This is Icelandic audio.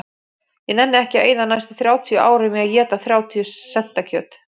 Ég nenni ekki að eyða næstu þrjátíu árum í að éta þrjátíu senta kjöt